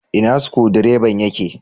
Ina Sukudireban ya ke?